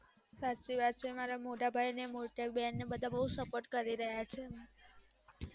સાચી વાત છે મારા મોટા ભાઈ ને મોટી બેન બધા બૌ support કરી રહયા છે